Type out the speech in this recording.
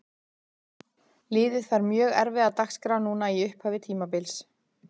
Liðið fær mjög erfiða dagskrá núna í upphafi tímabils.